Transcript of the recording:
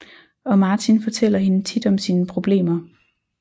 Og Martin fortæller hende tit om sine problemer